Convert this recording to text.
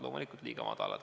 Loomulikult liiga madalad.